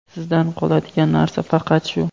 Sizdan qoladigan narsa faqat shu.